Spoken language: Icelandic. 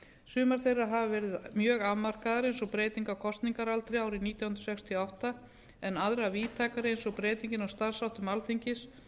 sumar þeirra hafa verið mjög afmarkaðar eins og breyting á kosningaaldri árið nítján hundruð sextíu og átta en aðrar víðtækari eins og breytingar á starfsháttum alþingis